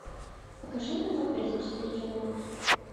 покажи эпизод тридцать четыре чернобыль